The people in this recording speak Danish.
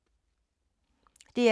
DR2